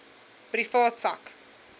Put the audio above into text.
privaat sak